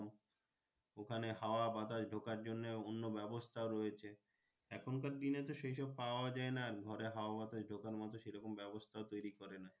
ওখানে হওয়া বাতাস ঢোকার জন্যে অন্য ব্যবস্থা রয়েছে এখনকার দিনে তো সেই সব পাওয়া যাই না ঘরে হওয়া বাতাস ঢোকার মতো সে রকম ব্যাবস্থা তৌরি করা না।